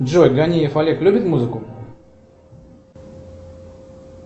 джой ганиев олег любит музыку